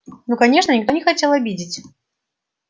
ну конечно никто не хотел обидеть